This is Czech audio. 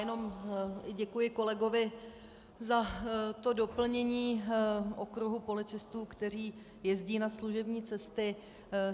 Jen děkuji kolegovi za to doplnění okruhu policistů, kteří jezdí na služební cesty.